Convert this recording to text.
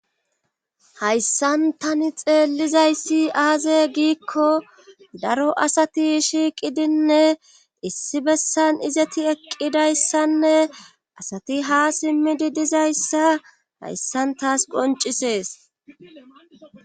hayssan tani xeellizayssi aaze giikko daro asati shiiqidinne issi bessan izati eqqidayssanne asati ha simmidi dizayssa hayssan taas qoncisees